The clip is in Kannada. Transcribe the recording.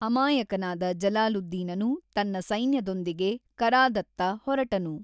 ಅಮಾಯಕನಾದ ಜಲಾಲುದ್ದೀನನು ತನ್ನ ಸೈನ್ಯದೊಂದಿಗೆ ಕರಾದತ್ತ ಹೊರಟನು.